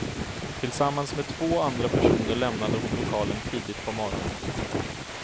Tillsammans med två andra personer lämnade hon lokalen tidigt på morgonen.